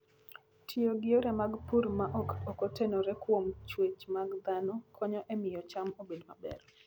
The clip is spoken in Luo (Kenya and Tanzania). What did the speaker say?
Tiyo gi yore mag pur ma ok otenore kuom chwech mag dhano konyo e miyo cham obed maber.